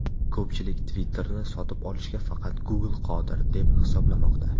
Ko‘pchilik Twitter’ni sotib olishga faqat Google qodir, deb hisoblamoqda.